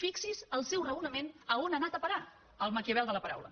fixi’s el seu raonament a on ha anat a parar el maquiavel de la paraula